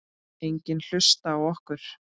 Enginn hlusta á okkur.